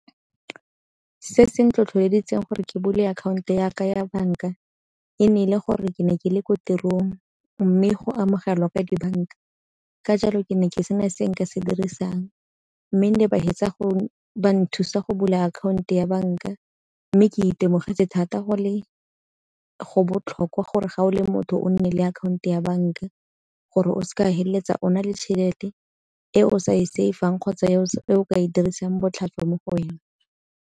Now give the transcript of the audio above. Se se nthotloeditseng gore ke bule akhaonto yaka ya banka, e ne e le gore ke ne ke le ko tirong mme go amogelwa ka dibanka, ka jalo ke ne ke se na se nka se dirisang. Mme nne ba nthusa go bula akhaonto ya banka, mme ke itemogele thata go botlhokwa gore ga o le motho o nne le akhaonto ya banka gore o se ka feleletsa o na le tšhelete e o sa e safe-ang kgotsa e o ka e dirisang botlhaswa mo go wena.